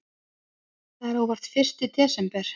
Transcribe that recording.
Það er óvart fyrsti desember.